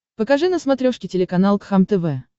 покажи на смотрешке телеканал кхлм тв